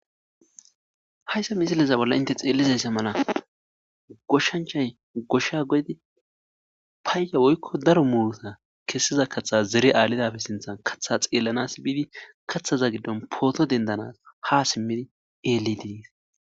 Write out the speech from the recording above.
hayssa misileza bolla inte xeelizaysse mala goshshanchay goshsha godi paayya woykko daro muuta kessiza kaththa zere aalidafe sinthan katha xeellanas biidi kaththaza giddon pooto dendanas ha simmidi eeli diis